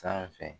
Sanfɛ